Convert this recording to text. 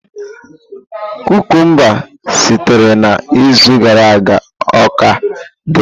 Kukumba sitere na izu gara aga o ka dị?